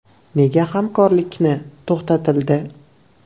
Nega hamkorlikni to‘xtatildi?